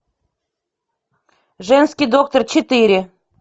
женский доктор четыре